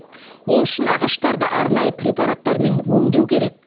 ол үшін ағаштарды арнайы препараттармен өңдеу керек